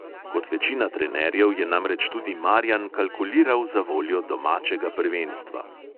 Kot večina trenerjev je namreč tudi marjan kalkuliral zavoljo domačega prvenstva.